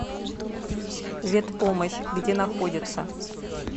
ветпомощь где находится